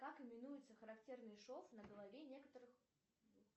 как именуется характерный шов на голове некоторых